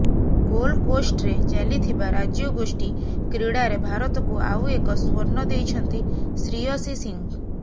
ଗୋଲକୋଷ୍ଟରେ ଚାଲିଥିବା ରାଜ୍ୟଗୋଷ୍ଠୀ କ୍ରୀଡାରେ ଭାରତକୁ ଆଉ ଏକ ସ୍ବର୍ଣ୍ଣ ଦେଇଛନ୍ତି ଶ୍ରୀୟସୀ ସିଂହ